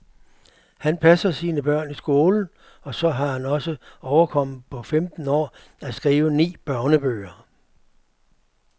Han passer sine børn i skolen, og så har han også overkommet på femten år at skrive ni børnebøger.